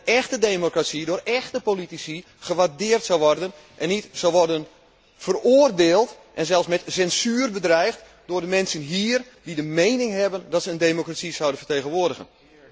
Iets wat in een echte democratie door echte politici gewaardeerd zou worden, en niet zou worden veroordeeld en zelfs met censuur bedreigd, zoals door de mensen hier, die menen dat zij een democratie zouden vertegenwoordigen.